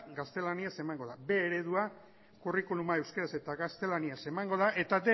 gaztelaniaz emango da b eredua curriculuma euskaraz eta gaztelaniaz emango da eta